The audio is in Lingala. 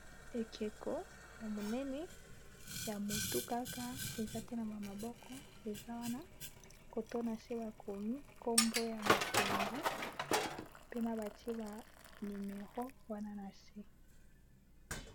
Ekeko ya monene ya motu kaka eza te na maboko eza wana cot'oyo na se ba komi kombo ya motu yango pena bate ba numero wana na se.